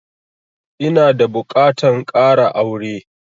Ina da buƙatan ƙara aure